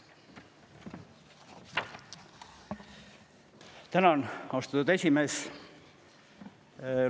Tänan, austatud esimees!